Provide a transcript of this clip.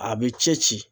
A bɛ ci ci